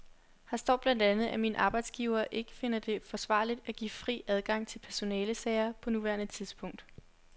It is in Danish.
Her står blandt andet, at min arbejdsgiver ikke finder det forsvarligt at give fri adgang til personalesager på nuværende tidspunkt.